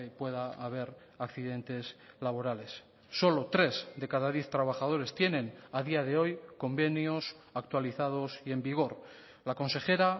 pueda haber accidentes laborales solo tres de cada diez trabajadores tienen a día de hoy convenios actualizados y en vigor la consejera